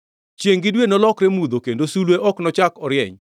Chiengʼ gi dwe nolokre mudho, kendo sulwe ok nochak orieny.